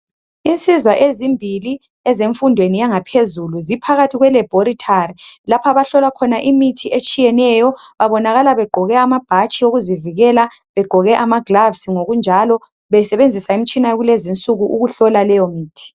Insizwa ezimbili ezemfundweni yangaphezulu ziphakathi kwe laboratory lapho abahlola khona imithi etshiyeneyo babonakala begqoke amabhatshi okuzivikela begqoke amagilovisi ngokunjalo besebenzisa imitshina yakulezi insuku ukuhlola leyo mithi.